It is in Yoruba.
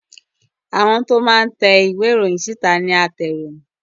Àwọn tí wọn máa ń te ìwé ìròyìn síta ní atẹroyin